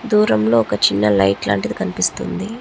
దూరం లో ఒక చిన్న లైట్ లాంటిది కనిపిస్తుంది.